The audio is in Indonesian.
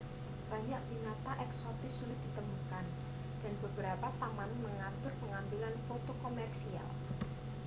banyak binatang eksotis sulit ditemukan dan beberapa taman mengatur pengambilan foto komersial